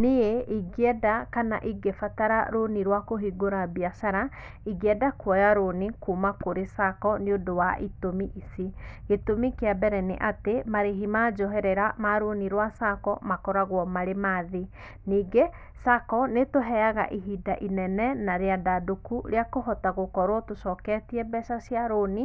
Niĩ ĩngĩenda kana ĩngĩbatara rũnĩ rwa kũhĩngũra biacara, ĩngĩenda kũoya rũnĩ kuma kũrĩ Sacco nĩ ũndũ wa ĩtũmĩ ĩci; gĩtũmĩ kĩa bere niatĩ marĩhi ma njoherera ma rũnĩ rwa Sacco makũragũo marĩ ma thĩĩ, ningĩ Sacco nitũheyaga ihinda ĩnene na rĩandandũku rĩa kũhota gukũrũo tũcoketĩe mbeca cia rũnĩ